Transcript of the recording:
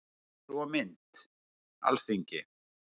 Heimildir og mynd: Alþingi.